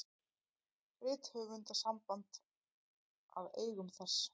Rithöfundasamband að eigum þess.